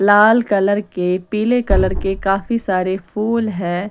लाल colour के पीले colour के काफी सारे फूल है।